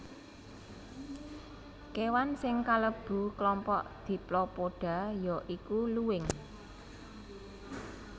Kéwan sing kalebu klompok Diplopoda ya iku luwing